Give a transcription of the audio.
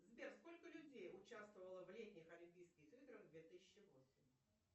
сбер сколько людей участвовало в летних олимпийских играх две тысячи восемь